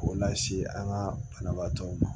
K'o lase an ka banabaatɔw ma